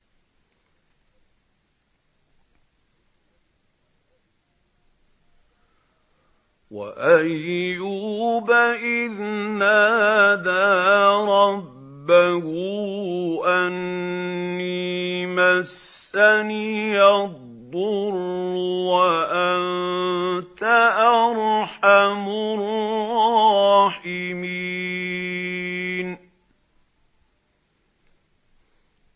۞ وَأَيُّوبَ إِذْ نَادَىٰ رَبَّهُ أَنِّي مَسَّنِيَ الضُّرُّ وَأَنتَ أَرْحَمُ الرَّاحِمِينَ